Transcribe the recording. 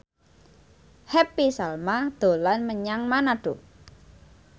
Happy Salma dolan menyang Manado